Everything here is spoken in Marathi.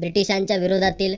ब्रिटिशांच्या विरोधातील